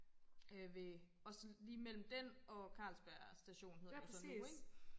øh ved også lige mellem den og Carlsberg station hedder det så nu ikke